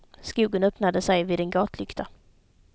Skogen öppnade sig vid en gatlykta.